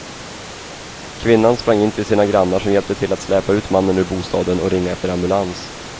Kvinnan sprang in till sina grannar som hjälpte till att släpa ut mannen ur bostaden och ringa efter ambulans.